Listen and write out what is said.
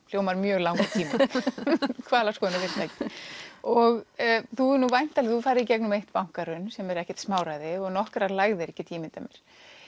hljómar mjög langur tími hvalaskoðunarfyrirtæki og þú hefur farið í gegnum eitt bankahrun sem er ekkert smáræði og nokkrar lægðir get ég ímyndað mér